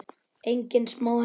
Engin smá heppni!